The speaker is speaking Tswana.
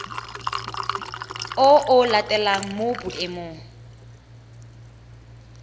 o o latelang mo boemong